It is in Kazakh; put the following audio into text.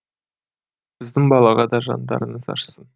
біздің балаға да жандарыңыз ашысын